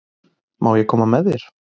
Má ég koma með þér?